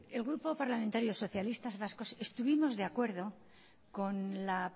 el grupo parlamentario socialistas vascos estuvimos de acuerdo con la